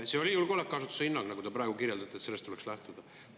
See oli julgeolekuasutuse hinnang, nagu te praegu kirjeldasite, et sellest tuleks lähtuda.